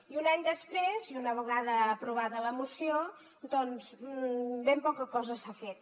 i un any després i una vegada aprovada la moció doncs ben poca cosa s’ha fet